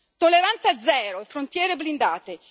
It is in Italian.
Tolleranza zero e frontiere blindate.